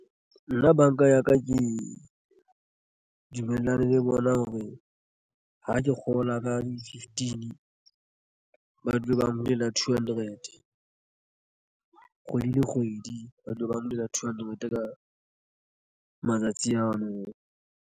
Nna banka ya ka ke dumellane le bona hore ha ke kgola ka di fifteen Ba dule ba bulela two hundred kgwedi le kgwedi, ba dule ba nyollela two hundred ka matsatsi ano.